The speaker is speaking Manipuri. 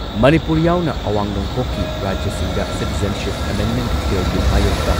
ꯃꯅꯤꯄꯨꯔ ꯌꯥꯎꯅ ꯑꯋꯥꯡ ꯅꯣꯡꯄꯣꯛꯀꯤ ꯔꯥꯖ꯭ꯌꯁꯤꯡꯗ ꯁꯤꯇꯤꯖꯦꯟꯁꯤꯞ ꯑꯦꯃꯦꯟꯗꯃꯦꯟꯠ ꯕꯤꯜꯒꯤ ꯃꯥꯌꯣꯛꯇ